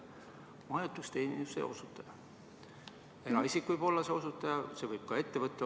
Majutusteenuse osutaja isik võib olla ka ettevõte.